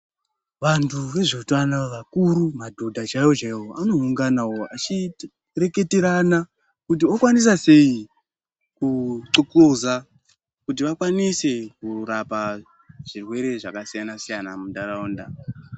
Vantu vezveutano vakuru madhodha chaiyo chaiwo anoungana vachireketerana kuti okwanisa sei kuthokoza kuti vakwanise kurapa zvirwere zvakasiyana siyana muntaraunda.